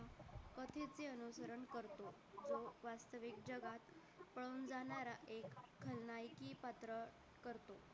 एक जगात पळून जाणारा एक खलनायकी पात्र करतो